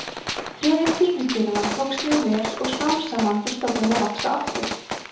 friðun tígrisdýranna tókst mjög vel og smám saman fór stofninn að vaxa aftur